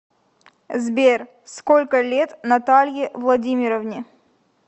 сбер сколько лет наталье владимировне